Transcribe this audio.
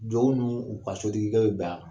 ninnu u ka sotigikɛ bɛ a la.